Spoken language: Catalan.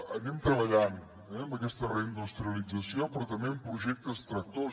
anem treballant amb aquesta reindustrialització però també amb projectes tractors